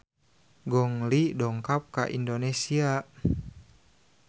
Gong Li dongkap ka Indonesia